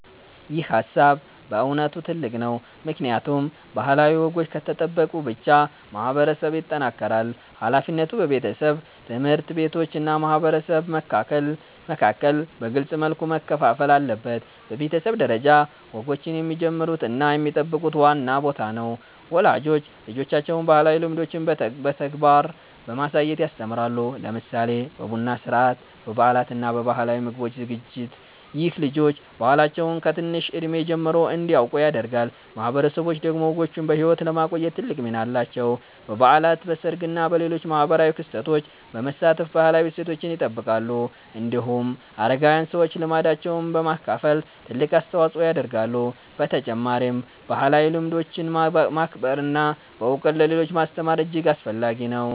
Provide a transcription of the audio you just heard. ይህ ሃሳብ በእውነት ጥልቅ ነው፣ ምክንያቱም ባህላዊ ወጎች ከተጠበቁ ብቻ ማህበረሰብ ይጠናከራል። ሃላፊነቱ በቤተሰብ፣ ትምህርት ቤቶች እና ማህበረሰብ መካከል በግልጽ መልኩ መከፋፈል አለበት። በቤተሰብ ደረጃ፣ ወጎችን የሚጀምሩት እና የሚጠብቁት ዋና ቦታ ነው። ወላጆች ልጆቻቸውን ባህላዊ ልምዶችን በተግባር በማሳየት ያስተምራሉ፣ ለምሳሌ በቡና ሥርዓት፣ በበዓላት እና በባህላዊ ምግብ ዝግጅት። ይህ ልጆች ባህላቸውን ከትንሽ እድሜ ጀምሮ እንዲያውቁ ያደርጋል። ማህበረሰቦች ደግሞ ወጎችን በሕይወት ለማቆየት ትልቅ ሚና አላቸው። በበዓላት፣ በሰርግ እና በሌሎች ማህበራዊ ክስተቶች በመሳተፍ ባህላዊ እሴቶችን ይጠብቃሉ። እንዲሁም አረጋዊያን ሰዎች ልምዳቸውን በማካፈል ትልቅ አስተዋጽኦ ያደርጋሉ። በተጨማሪም ባህላዊ ልምዶችን ማክበር እና በእውቀት ለሌሎች ማስተማር እጅግ አስፈላጊ ነው።